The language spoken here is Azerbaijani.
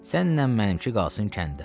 Sənnən mənimki qalsın kəndə.